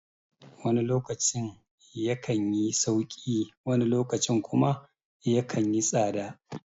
Wani lokacin ya kanyi sauƙi wani lokacin kuma yakan yi tsada